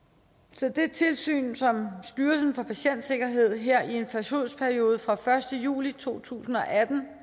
så det tilsyn som styrelsen for patientsikkerhed her i en forsøgsperiode fra den første juli to tusind og atten